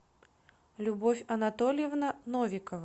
любовь анатольевна новикова